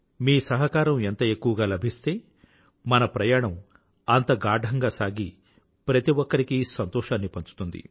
మీ సహకారం ఎంత ఎక్కువగా లభిస్తే మన ప్రయాణం అంత గాఢంగా సాగి ప్రతి ఒక్కరికీ సంతోషాన్ని పంచుతుంది